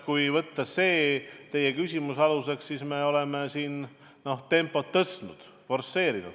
Kui võtta aluseks teie küsimus, siis me oleme tempot isegi tõstnud, forsseerinud.